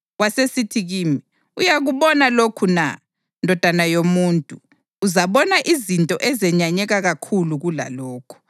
Wasesithi kimi, “Uyakubona lokhu na, ndodana yomuntu? Uzabona izinto ezenyanyeka kakhulu kulalokhu.”